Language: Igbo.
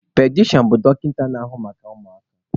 Pediatrishan bụ dọkịta na-ahụ maka ụmụaka.